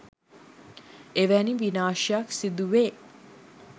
එවැනි විනාශයක් සිදුවේ